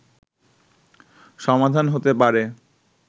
সমাধান হতে পারে